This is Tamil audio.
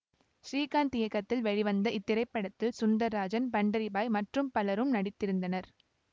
ஸ்ரீகாந்த் இயக்கத்தில் வெளிவந்த இத்திரைப்படத்தில் சுந்தராஜன் பண்டரி பாய் மற்றும் பலரும் நடித்திருந்தனர்